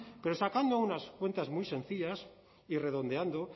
pero sacando unas cuentas muy sencillas y redondeando